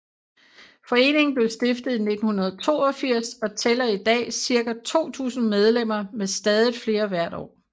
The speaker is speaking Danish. Foreningen blev stiftet i 1982 og tæller i dag ca 2000 medlemmer med stadigt flere hvert år